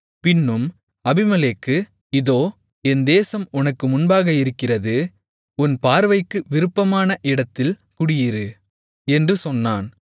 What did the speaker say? பின்னும் அபிமெலேக்கு இதோ என் தேசம் உனக்கு முன்பாக இருக்கிறது உன் பார்வைக்கு விருப்பமான இடத்தில் குடியிரு என்று சொன்னான்